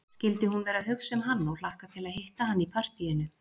Skyldi hún vera að hugsa um hann og hlakka til að hitta hann í partíinu?